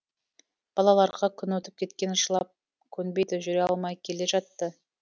балаларға күн өтіп кеткен жылап көнбейді жүре алмай келе жатты